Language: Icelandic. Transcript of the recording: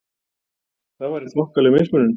Það væri þokkaleg mismunun!